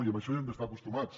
i a això hi hem d’estar acostumats